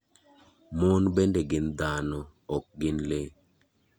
Mon bende gin dhano, ok gin lee.